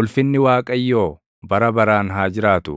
Ulfinni Waaqayyoo bara baraan haa jiraatu;